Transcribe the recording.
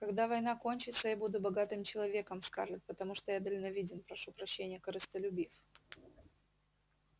когда война кончится я буду богатым человеком скарлетт потому что я дальновиден прошу прощения корыстолюбив